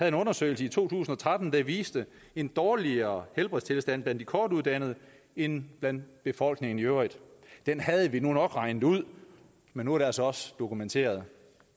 en undersøgelse i to tusind og tretten der viste en dårligere helbredstilstand blandt de kortuddannede end blandt befolkningen i øvrigt den havde vi nu nok regnet ud men nu er det altså også dokumenteret